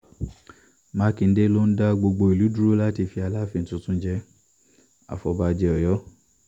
mákindé ló ń dá gbogbo ìlú dúró láti fi aláàfin tuntun jẹ- àfọ̀bàjẹ́ ọ̀yọ́